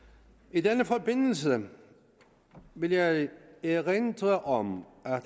i den forbindelse vil jeg erindre om